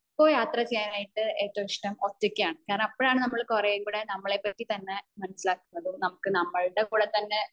ഇപ്പൊ യാത്ര ചെയ്യാനായിട്ട് ഏറ്റവും ഇഷ്ടം ഒറ്റക്കാണ് കാരണം അപ്പോഴാണ് നമ്മൾ കുറെം കൂടെ നമ്മളെ പറ്റി തന്നെ മനസിലാക്കുന്നതും നമുക് നമ്മുടെ കൂടെ തന്നെ